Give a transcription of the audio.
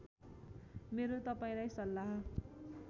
मेरो तपाईँलाई सल्लाह